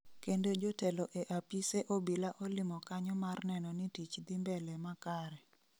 Kendo jotelo e apise obila olimo kanyo mar neno ni tich dhi mbele makare